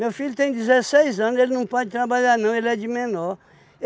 Meu filho tem dezesseis anos, ele não pode trabalhar não, ele é de menor.